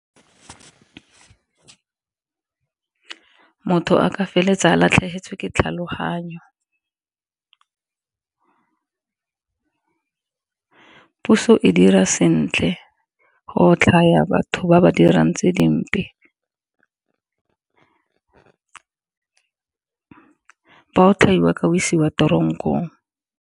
Motho a ka feleletsa ba latlhegetswe ke tlhaloganyo, puso e ka dira sentle go otlhaya batho ba ba dirang tse dimpe ba otlhaiwa ka isiwa tronkong.